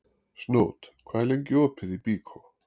Snót, hvað er lengi opið í Byko?